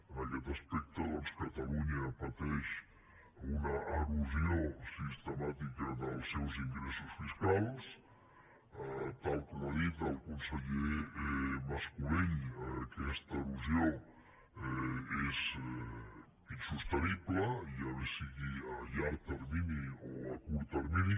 en aquest aspecte doncs catalunya pateix una erosió sistemàtica dels seus ingressos fiscals tal com ha dit el conseller mas colell aquesta erosió és insostenible ja bé sigui a llarg termini o a curt termini